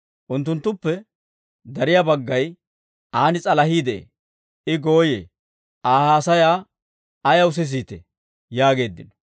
Unttunttuppe dariyaa baggay, «Aan s'alahii de'ee! I gooyee! Aa haasayaa ayaw sisiitee?» yaageeddino.